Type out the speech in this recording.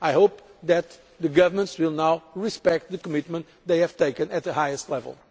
I hope that the governments will now respect the commitment they have taken at the highest level.